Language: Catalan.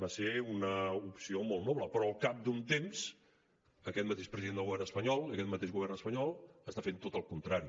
va ser una opció molt noble però al cap d’un temps aquest mateix president del govern espanyol i d’aquest mateix govern espanyol està fent tot el contrari